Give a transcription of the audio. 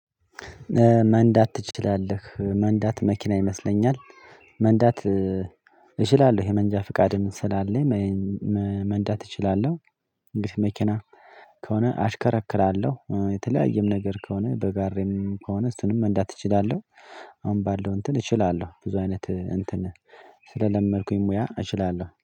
መንዳት ትችላለህ መንዳት መኪና ይመስለኛል መንዳት እችላለሁ የመንጃ ፍቃድም ስላለኝ መንዳት እችላለሁ። እንግዲህ መኪና ከሆነ አሽከረክራለሁ የተለያየም ነገር ከሆነ በጋሬም ከሆነ እሱንም መንዳት እችላለሁ። አሁን ባለው እንትን እችላለሁ ብዙ አይነት እንትን ስለለመድኩኝ ሙያ እችላለሁ